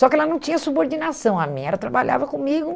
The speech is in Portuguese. Só que ela não tinha subordinação a mim, ela trabalhava comigo.